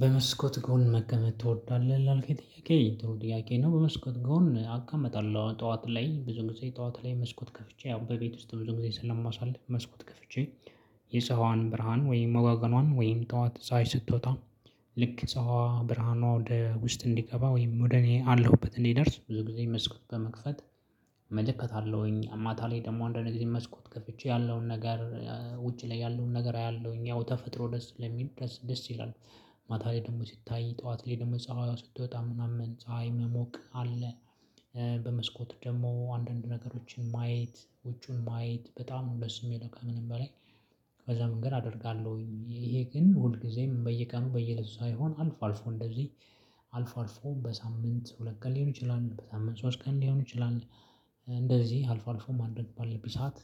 በመስኮት ጎን መቀመጥ ትወዳለህ ላልከኝ ጥያቄ ጥሩ ጥያቄ ነው? በመስኮት ጎን አው እቀመጣለሁ ጠዋት ላይ ብዙ ጊዜ ጠዋት ላይ መስኮት ከፍቼ ያው በቤት ውስጥ ብዙ ጊዜ ስለማሳልፍ መስኮት ከፍቼ። የፀሐይዋን ብርሃን ወይም ወጋገኗን ወይም ጠዋት ፀሀይ ስትወጣ። ልክ ፀሀይዋ ብርሃኗ ወደ ውስጥ እንዲገባ ወይም ወደ እኔ አለሁበት እንዲደርስ ብዙ ጊዜ መስኮት በመክፈት። እመለከታለሁኝ ማታ ላይ ደግሞ አንዳንድ ጊዜ መስኮት ከፍቼ ያለውን ነገር። ውጪ ላይ ያለውን ነገር አያለውኝ ያው ተፈጥሮ ደስ ስለሚል ደስ ደስ ይላል። ማታ ላይ ደግሞ ሲታይ ጠዋት ላይ ደግሞ ፀሀይ ስትወጣ ምናምን ፀሀይ መሞቅ አለ። በመስኮት ደግሞ አንዳንድ ነገሮችን ማየት ውጩን ማየት በጣም ነው ደስ የሚለው ከምንም በላይ። ከዛ መንገድ አደርጋለሁኝ ይሄ ግን ሁል ጊዜም በየቀኑ በየእለቱ ሳይሆን አልፎ አልፎ እንደዚህ። አልፎ አልፎ በሳምንት ሁለት ቀን ሊሆን ይችላል በሳምንት ሶስት ቀን ሊሆን ይችላል። እንደዚህ አልፎ አልፎ ማድረግ ባለብኝ ሰዓት።